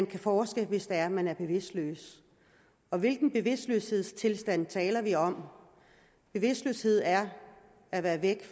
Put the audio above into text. kan forskes hvis det er man er bevidstløs og hvilken bevidstløshedstilstand taler vi om bevidstløshed er at være væk